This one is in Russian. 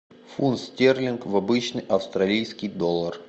фунт стерлинг в обычный австралийский доллар